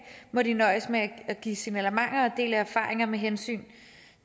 må de nøjes med at give signalementer og dele erfaringer med hensyn